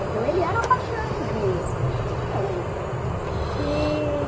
Então ele era a paixão mesmo, não tinha outra. E...